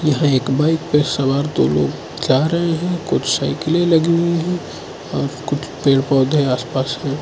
यहां एक बाइक पे सवार दो लोग जा रहे हैं कुछ साइकिलें लगी हुई हैं और कुछ पेड़ पौधे हैं आस पास में।